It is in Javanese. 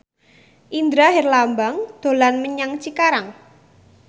Indra Herlambang dolan menyang Cikarang